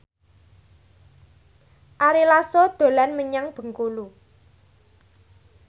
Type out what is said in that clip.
Ari Lasso dolan menyang Bengkulu